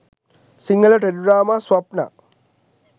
sinhala teledrama swapna